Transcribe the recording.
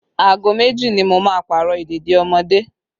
Aago méjì ni mo máa Pààrọ̀ ìdèdí ọmọdé